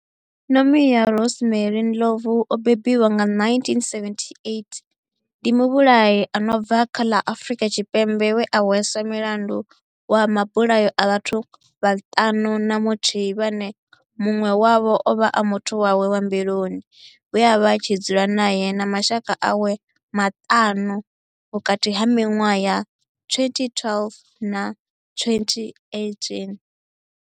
Nomia Rosemary Ndlovu o bebiwaho nga 1978 ndi muvhulahi a no bva kha ḽa Afurika Tshipembe we a hweswa mulandu wa mabulayo a vhathu vhaṱanu na muthihi vhane munwe wavho ovha a muthu wawe wa mbiluni we avha a tshi dzula nae na mashaka awe maṱanu - vhukati ha minwaha ya 2012 na 2018.